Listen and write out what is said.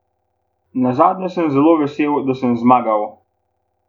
Nazadnje sem zelo vesel, da sem zmagal.